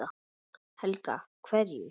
Helga: Hverju?